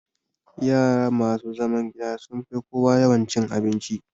Yara masu zaman gida sun fi kowa yawan cin abinci